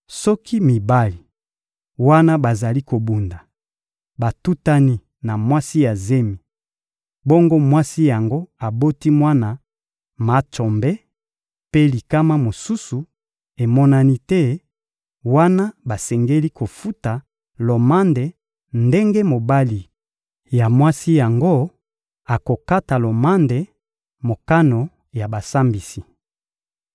Soki mibali, wana bazali kobunda, batutani na mwasi ya zemi, bongo mwasi yango aboti mwana matsombe mpe likama mosusu emonani te, wana basengeli kofuta lomande ndenge mobali ya mwasi yango akokata kolanda mokano ya basambisi.